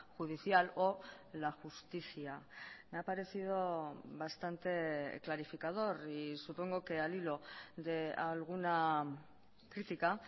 judicial o la justicia me ha parecido bastante clarificador y supongo que al hilo de alguna crítica